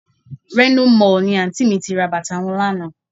Reno Mall ni Àǹtí mi ti ra bàtà wọn lánàá